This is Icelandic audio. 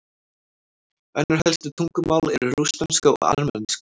önnur helstu tungumál eru rússneska og armenska